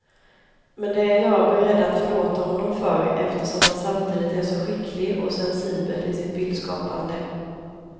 Men det är jag beredd att förlåta honom för, eftersom han samtidigt är så skicklig och sensibel i sitt bildskapande.